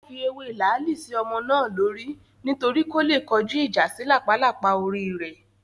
Wọ́n fi ewé làálì sí ọmọ náà lórí nítorí kó le kọjúìjà sí làpálàpá orí rẹ̀